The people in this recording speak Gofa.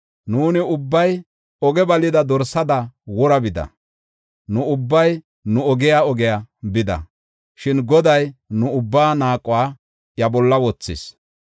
Nuuni ubbay oge balida dorsada wora bida; nu ubbay nu ogiya ogiya bida. Shin Goday nu ubbaa naaquwa iya bolla wothis.